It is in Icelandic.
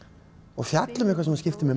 og fjalla um eitthvað sem skiptir mig